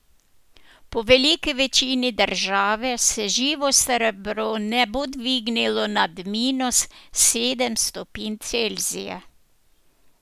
Po veliki večini države se živo srebro ne bo dvignilo nad minus sedem stopinj Celzija.